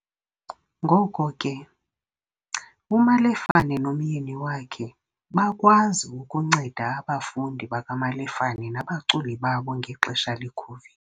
Ngoko ke, uMalefane nomyeni wakhe bakwazi ukunceda abafundi bakaMalefane nabaculi babo ngexesha le-COVID.